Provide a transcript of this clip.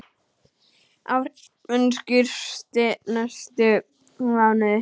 Áhrifin skýrist næstu mánuði.